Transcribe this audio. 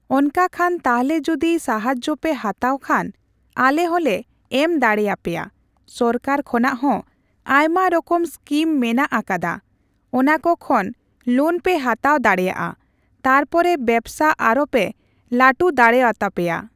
ᱚᱱᱠᱟ ᱠᱷᱟᱱ ᱛᱟᱞᱮ ᱡᱩᱫᱤ ᱥᱟᱦᱟᱡᱡᱚ ᱯᱮ ᱦᱟᱛᱟᱣ ᱠᱷᱟᱱ, ᱟᱞᱮ ᱦᱚᱸᱞᱮ ᱮᱢ ᱫᱟᱲᱮᱣᱟᱯᱮᱭᱟ᱾ ᱥᱚᱨᱠᱟᱨ ᱠᱷᱚᱱᱟᱜ ᱦᱚᱸ ᱟᱭᱢᱟ ᱨᱚᱠᱚᱢ ᱥᱠᱤᱢ ᱢᱮᱱᱟᱜ ᱠᱟᱫᱟ, ᱚᱱᱟᱠᱚ ᱠᱷᱚᱱ ᱞᱳᱱ ᱯᱮ ᱦᱟᱛᱟᱣ ᱫᱟᱲᱮᱣᱟᱜᱼᱟ᱾ ᱛᱟᱨᱯᱚᱨᱮ ᱵᱮᱵᱥᱟ ᱟᱨᱚᱯᱮ ᱞᱟᱹᱴᱩ ᱫᱟᱲᱮᱣᱟᱛᱟᱯᱮᱭᱟ ᱾